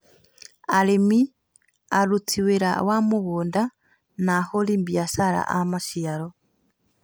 Arĩmi, aruti a wĩra wa mũgũnda, na ahũri a biashara a maciaro